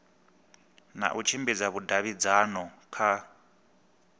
na u tshimbidza vhudavhidzano kha